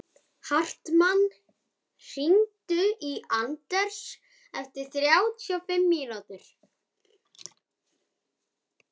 Hartmann, hringdu í Anders eftir þrjátíu og fimm mínútur.